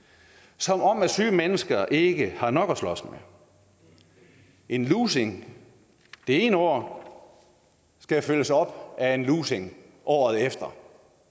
som om syge mennesker ikke har nok at slås med en lussing det ene år skal følges op af en lussing året efter